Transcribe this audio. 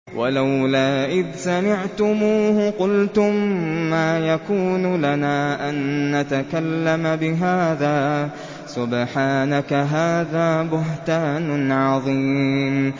وَلَوْلَا إِذْ سَمِعْتُمُوهُ قُلْتُم مَّا يَكُونُ لَنَا أَن نَّتَكَلَّمَ بِهَٰذَا سُبْحَانَكَ هَٰذَا بُهْتَانٌ عَظِيمٌ